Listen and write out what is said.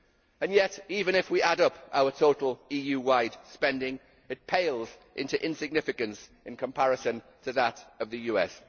And yet even if we add up our total EU wide spending, it pales into insignificance in comparison to that of the US.